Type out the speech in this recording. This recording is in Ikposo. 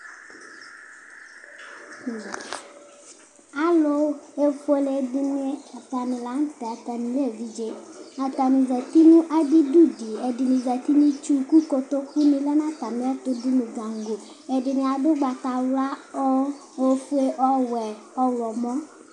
alʊfʊélédɩnɩ zɛtɩ nʊ adɩdʊdɩ kʊ ɛdɩnɩ zɛtɩ nʊ ɩtsʊwʊ kʊ kotokʊnɩ lɛnatamɩɛtʊ dʊnʊ gango ɛdɩnɩadʊ ʊgbatawla ofʊé owʊé ɔlɔmɔ